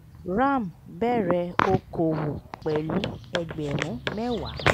ram bẹ̀rẹ̀ okòwò pẹ̀lú ẹgbẹ̀rún mẹ́wàá